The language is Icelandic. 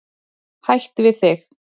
Hætt við þig.